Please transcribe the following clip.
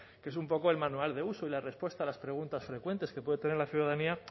que es un poco el manual de uso y la respuesta a las preguntas frecuentes que puede tener la ciudadanía